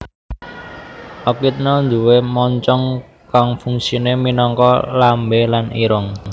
Ekidna nduwé moncong kang fungsiné minangka lambé lan irung